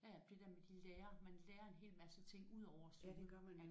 Ja ja det der med at de lærer man lærer en hel masse ting udover at synge